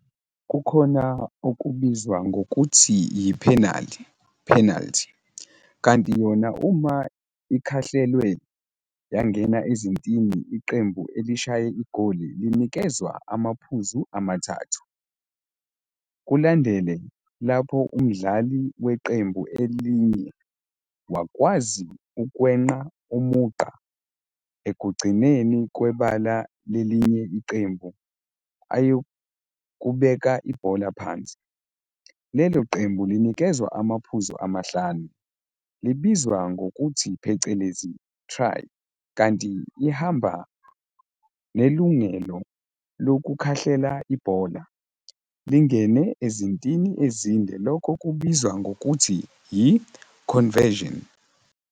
Kukhona okubizwa ngokuthi yiphenali, penalty, kanti yona uma ikhahlelwe yangena ezintini iqembu elishaye igoli linikezwa amaphuzu amathathu. Kulandele lapho umdlali weqembu elinye wakwazi ukwenqa umugqa ekugcineni kwebala lelinye iqembu ayokubeka ibhola phansi, lelo qembu linikezwa amaphuzu amahlanu, libizwa ngokuthi phecelezi, try, kanti ihamba nelungelo lokukhahlela ibhola, lingene ezintini ezinde lokho kubizwa ngokuthi yi-conversion.